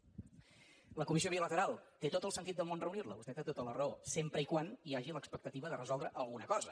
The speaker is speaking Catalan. la comissió bilateral té tot el sentit del món reunir la vostè té tota la raó sempre que hi hagi l’expectativa de resoldre alguna cosa